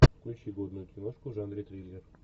включи годную киношку в жанре триллер